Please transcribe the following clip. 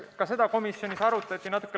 Ka seda komisjonis arutati.